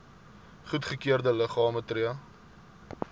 goedgekeurde liggame tree